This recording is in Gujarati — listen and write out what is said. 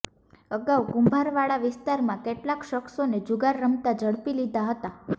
અગાઉ કુંભારવાડા વિસ્તારમાં કેટલાક શખ્સોને જુગાર રમતા ઝડપી લીધા હતા